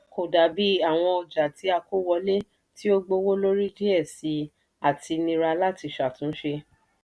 kò dàbí àwọn ọjà tí a kó wọlé tí ó gbówó lórí díẹ̀ síi àti nira láti ṣàtúnṣe.